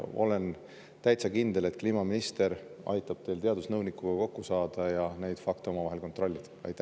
Olen täitsa kindel, et kliimaminister aitab teil teadusnõunikuga kokku saada ja neid fakte koos kontrollida.